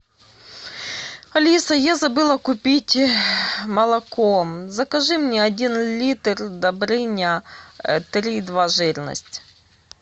алиса я забыла купить молоко закажи мне один литр добрыня три и два жирность